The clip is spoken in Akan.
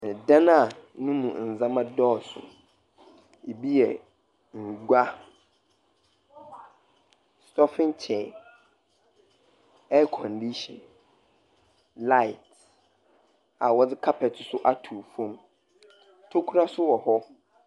Dan no mu ndzama dɔɔso; bi yɛ ngua, stɔfin chair, airkɔndihyin, lait, a wɔdze kapɛt nso atow fam. Ntokua nso wɔ hɔ.